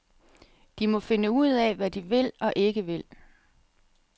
De må finde ud af, hvad de vil og ikke vil.